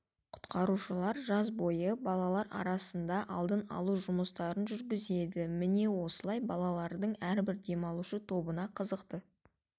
құтқарушылар жаз бойы оқушылар арасында алдын алу жұмыстарын жүргізеді міне осылай балалардың әрбір демалушы тобына қызықты